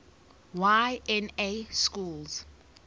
y na schools